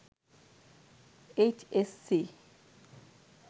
H S C